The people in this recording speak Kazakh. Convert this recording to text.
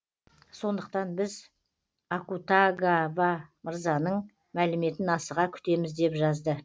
сондықтан біз акутагава мырзаның мәліметін асыға күтеміз деп жазды